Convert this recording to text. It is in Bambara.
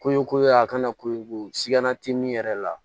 Koɲɛ ko ye a kana ko siga na te min yɛrɛ la